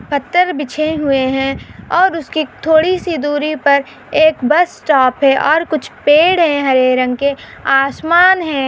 पत्थर बिछे हुए है और उसकी थोड़ीसी दूरी पर एक बस स्टॉप है और कुछ पेड़ है हरे रंग के आसमान है।